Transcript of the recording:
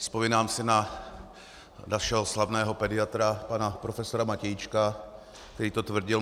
Vzpomínám si na našeho slavného pediatra pana profesora Matějíčka, který to tvrdil.